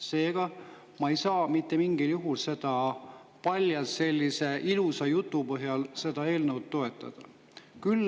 Seega, ma ei saa mitte mingil juhul seda eelnõu palja sellise ilusa jutu põhjal toetada.